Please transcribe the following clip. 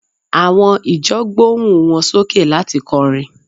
àwọn ìjọ gbohun wan soke lati kọrin